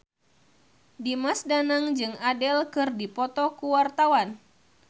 Dimas Danang jeung Adele keur dipoto ku wartawan